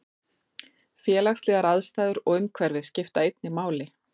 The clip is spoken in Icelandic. Félagslegar aðstæður og umhverfi skipta einnig máli.